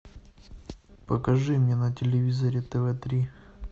покажи мне на телевизоре тв три